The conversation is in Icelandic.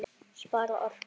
Spara orku.